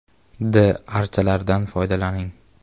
D archa lardan foydalaning.